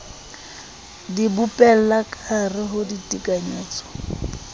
di bopella kahare ho ditekanyetso